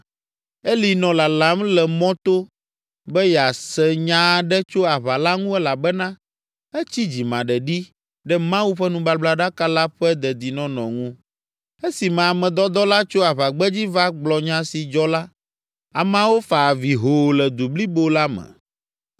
Eli nɔ lalam le mɔto be yease nya aɖe tso aʋa la ŋu elabena etsi dzimaɖeɖi ɖe Mawu ƒe nubablaɖaka la ƒe dedinɔnɔ ŋu. Esime ame dɔdɔ la tso aʋagbedzi va gblɔ nya si dzɔ la, ameawo fa avi hoo le du blibo la me.